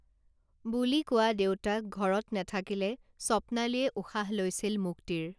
বুলি কোৱা দেউতাক ঘৰত নেথাকিলে স্বপ্নালীয়ে উশাহ লৈছিল মুক্তিৰ